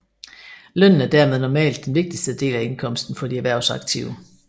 Lønnen er dermed normalt den vigtigste del af indkomsten for de erhvervsaktive